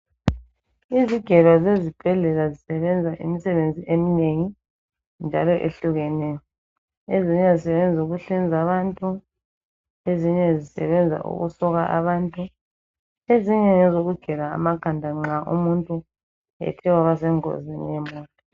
Izigelo zibhendlela ziyenza imisebenzi eminengi njalo ehlukeneyo ezinye zisebenza ukuhlinza abantu ezinye zisebenza ukusokwa abantu ezinye ngezokugela amakhanda nxa umuntu ethe waba sengozini yemota.